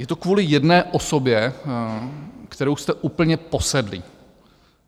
Je to kvůli jedné osobě, kterou jste úplně posedlí.